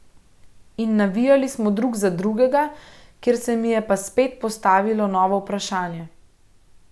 In navijali smo drug za drugega, kjer se mi je pa spet postavilo novo vprašanje.